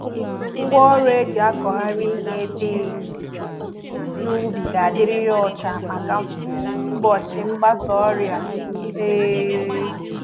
Ngwá ọrụ e jì akụghari ihe dị n'ubi ga dị rịrị ọcha màkà mgbochi mgbasa ọrịa um